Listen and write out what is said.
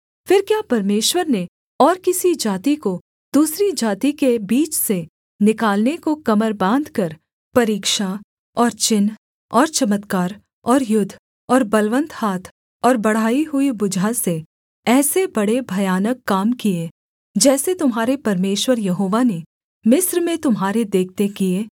फिर क्या परमेश्वर ने और किसी जाति को दूसरी जाति के बीच से निकालने को कमर बाँधकर परीक्षा और चिन्ह और चमत्कार और युद्ध और बलवन्त हाथ और बढ़ाई हुई भुजा से ऐसे बड़े भयानक काम किए जैसे तुम्हारे परमेश्वर यहोवा ने मिस्र में तुम्हारे देखते किए